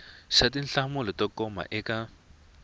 xa tinhlamulo to koma eka